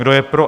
Kdo je pro?